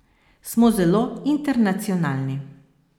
Smo zelo internacionalni.